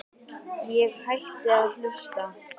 Ég hætti að hlusta.